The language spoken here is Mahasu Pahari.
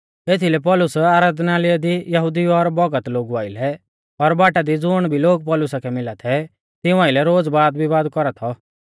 एथीलै पौलुस आराधनालय दी यहुदिऊ और भौगत लोगु आइलै और बाटा दी ज़ुण भी लोग पौलुसा कै मिला थै तिऊं आइलै रोज़ वादविवाद कौरा थौ